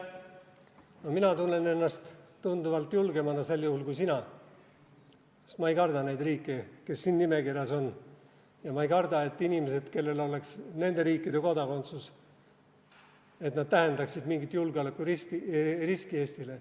No mina tunnen ennast tunduvalt julgemana sel juhul kui sina, sest ma ei karda neid riike, kes siin nimekirjas on, ja ma ei karda, et inimesed, kellel oleks nende riikide kodakondsus, tähendaksid mingit julgeolekuriski Eestile.